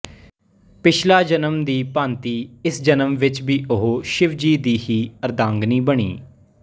ਪਿਛਲਾ ਜਨਮ ਦੀ ਭਾਂਤੀ ਇਸ ਜਨਮ ਵਿੱਚ ਵੀ ਉਹ ਸ਼ਿਵ ਜੀ ਦੀ ਹੀ ਅਰੱਧਾਂਗਿਨੀ ਬਣੀ